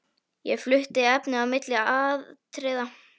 Ég flutti efnið á milli atriða.